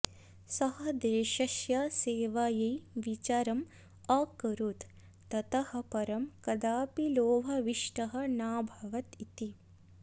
सः देशस्य सेवायै विचारम् अकरोत् ततः परं कदापि लोभाविष्टः नाभवत् इति